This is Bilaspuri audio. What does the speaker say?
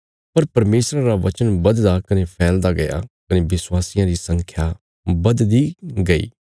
पर परमेशरा रा वचन बधदा कने फैलदा गया कने विश्वासियां री संख्या बधदी गई